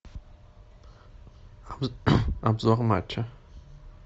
обзор матча